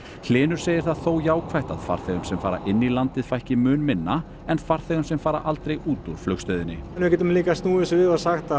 hlynur segir það þó jákvætt að farþegum sem fara inn í landið fækki mun minna en farþegum sem fara aldrei út úr flugstöðinni við getum líka snúið þessu við og sagt að